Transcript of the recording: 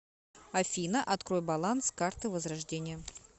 афина открой баланс карты возрождение